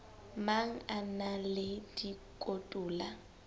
mang a na le dikotola